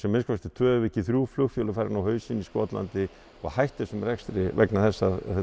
minnsta kosti tvö ef ekki þrjú flugfélög hafi farið á hausinn í Skotlandi og hætt þessum rekstri vegna þess að